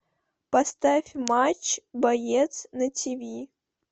поставь матч боец на тв